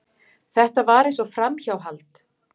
Þetta var eins og framhjáhald.